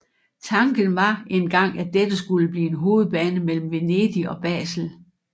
Tanken var en gang at dette skulle blive en hovedbane mellem Venedig og Basel